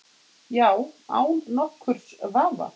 Já, án nokkurs vafa.